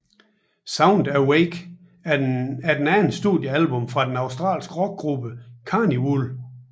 Sound Awake er det andet studiealbum fra den australske rockgruppe Karnivool